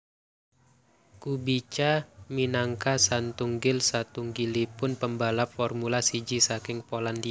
Kubica minangka satunggil satunggilipun pembalap Formula siji saking Polandia